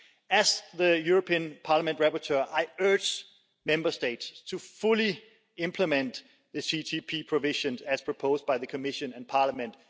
As the European Parliament rapporteur, I urge Member States to fully implement the CTP provisions as proposed by the Commission and Parliament.